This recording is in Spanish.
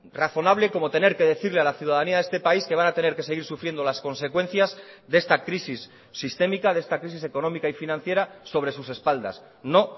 razonable como tener que decirle a la ciudadanía de este país que van a tener que seguir sufriendo las consecuencias de esta crisis sistémica de esta crisis económica y financiera sobre sus espaldas no